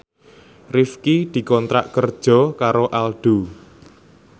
Rifqi dikontrak kerja karo Aldo